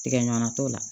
Tigɛɲɔgɔnna t'o la